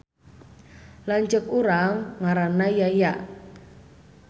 Lanceuk urang ngaranna Yaya